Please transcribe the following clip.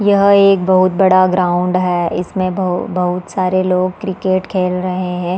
यह एक बहुत बड़ा ग्राउंड है इसमें बहु बहुत सारे लोग क्रिकेट खेल रहै हैं।